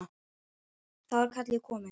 Þá er kallið komið.